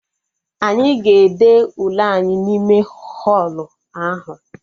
Anyị ga-ede Ule anyị n'ime họlụ ahụ